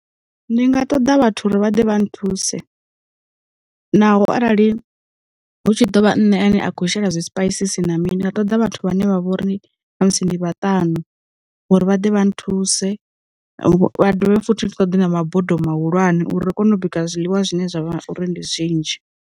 Ndi nga ṱoḓa vhathu uri vha ḓe vha nthuse, naho arali hu tshi ḓovha nṋe ane a khou shela zwipaisisi na mini, nga ṱoḓa vhathu vhane vha vha uri musi ndi vha ṱanu uri vha ḓe vha nthuse, vha dovhe futhi ri ṱoḓe na mabodo mahulwane uri ri kone u bika zwiḽiwa zwine zwa vha uri ndi zwinzhi.